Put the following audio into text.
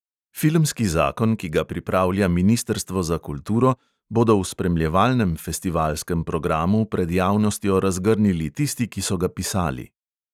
Filmski zakon, ki ga pripravlja ministrstvo za kulturo, bodo v spremljevalnem festivalskem programu pred javnostjo razgrnili tisti, ki so ga pisali.